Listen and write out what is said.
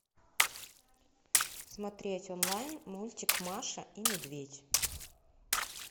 смотреть онлайн мультик маша и медведь